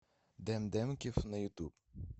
дэн дэмкив на ютуб